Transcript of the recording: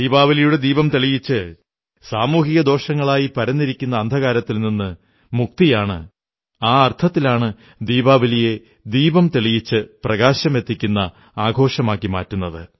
ദീപാവലിയുടെ ദീപം തെളിയിച്ച് സാമൂഹിക ദോഷങ്ങളായി പരന്നിരിക്കുന്ന അന്ധകാരത്തിൽ നിന്നു മുക്തിയാണ് ആ അർഥത്തിലാണ് ദീപാവലിയെ ദീപം തെളിയിച്ച് പ്രകാശമെത്തിക്കുന്ന ആഘോഷമാക്കുന്നത്